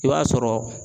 I b'a sɔrɔ